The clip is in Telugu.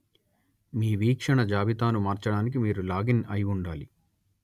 మీ వీక్షణ జాబితాను మార్చడానికి మీరు లాగిన్‌ అయి ఉండాలి